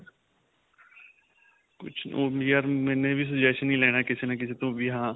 ਕੁੱਝ ਯਾਰ ਵੀ suggestion ਹੀ ਲੈਣਾ ਕਿਸੇ ਨਾ ਕਿਸੇ ਤੋਂ ਵੀ ਹਾਂ